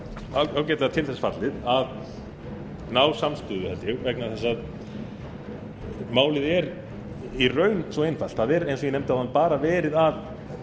fallið að ná samstöðu held ég vegna þess að málið er í raun svo einfalt það er eins og ég nefndi áðan bara verið að